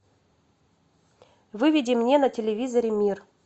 выведи мне на телевизоре мир